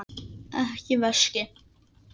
Ekki veski.